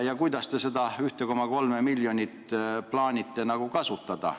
Ja kuidas te plaanite seda 1,3 miljonit kasutada?